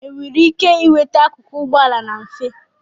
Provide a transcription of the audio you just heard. enwere ike nweta akụkụ ụgbọala na mfe